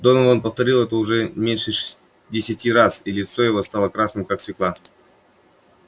донован повторил это уже не меньше десяти раз и лицо его стало красным как свёкла